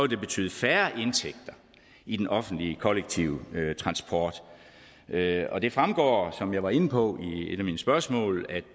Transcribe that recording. det betyde færre indtægter i den offentlige kollektive transport og det fremgår som jeg var inde på i et af mine spørgsmål at